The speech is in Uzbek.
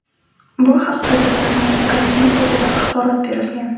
Bu haqda tadbirning rasmiy saytida axborot berilgan.